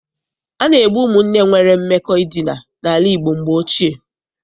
A na-egbu ụmụnne nwere mmekọ edina n'ala Igbo mgbe ochie.